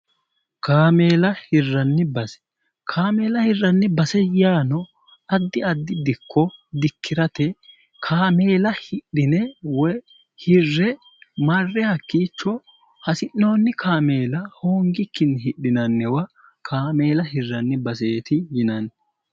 Kameela hiranni base, kameela hiranni base yaano addi addi dikko dikkirate kameela hidhine woy hirre marre hakkiicho hasi'noonni kameela hoongikkinni hidhinanniwa kameella hiranni baseeti yinanni